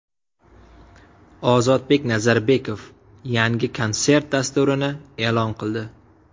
Ozodbek Nazarbekov yangi konsert dasturini e’lon qildi.